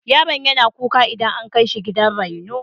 Yaron yana kuka idan an kai shi gidan raino.